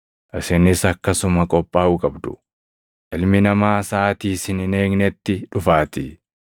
Isinis akkasuma qophaaʼuu qabdu; Ilmi Namaa saʼaatii isin hin eegnetti dhufaatii.”